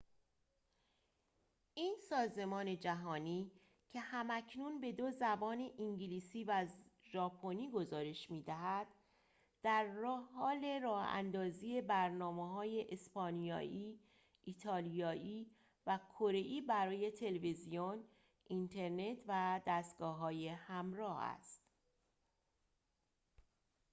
این سازمان جهانی که هم‌اکنون به دو زبان انگلیسی و ژاپنی گزارش می‌دهد درحال راه‌اندازی برنامه‌های اسپانیایی ایالیایی و کره‌ای برای تلویزیون اینترنت و دستگاه‌های همراه است